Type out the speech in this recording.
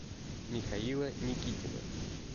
михаила никитина